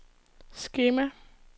skema